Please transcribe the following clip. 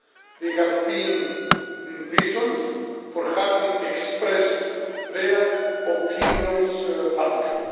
They have been imprisoned for having expressed their opinions publicly.